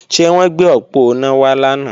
Ṣé wọ́n gbé òponá wá lánàá?